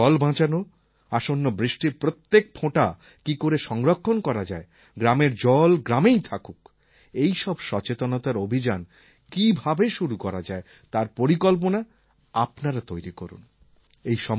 গ্রামেগ্রামে জল বাঁচানো আসন্ন বৃষ্টির প্রত্যেক ফোঁটা কী করে সংরক্ষণ করা যায় গ্রামের জল গ্রামেই থাকুক এই সব সচেতনতার অভিযান কীভাবে শুরু করা যায় তার পরিকল্পনা আপনারা তৈরি করুন